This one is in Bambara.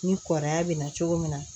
Ni kɔrɔkɛya bɛ na cogo min na